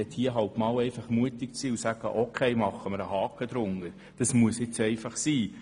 Dann gilt es, mutig zu sein und zu sagen, es müsse einfach sein.